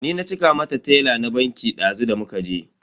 Ni na cika mata tela na banki dazu da muka je.